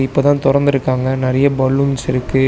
இப்பதா தொறந்துருக்காங்க நெறைய பலூன்ஸ் இருக்கு.